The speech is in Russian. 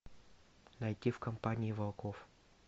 найти в компании волков